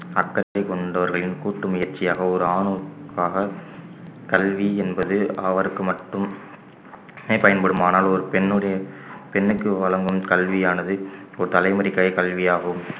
அக்கறை கொண்டவர்களின் கூட்டு முயற்சியாக ஒரு ஆணுக்காக கல்வி என்பது அவருக்கு மட்டுமே பயன்படுமானால் ஒரு பெண்ணுடைய பெண்ணுக்கு வழங்கும் கல்வியானது ஒரு தலைமுறைக்கான கல்வியாகும்